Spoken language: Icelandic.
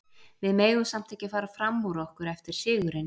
Við megum samt ekki fara fram úr okkur eftir sigurinn.